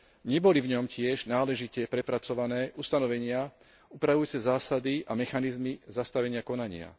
Neboli v ňom tiež náležite prepracované ustanovenia upravujúce zásady a mechanizmy zastavenia konania.